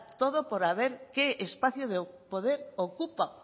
todo por ver qué espacio de poder ocupa